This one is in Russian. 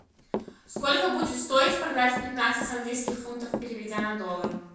сколько будет стоить продать пятнадцать английских фунтов переведя на доллар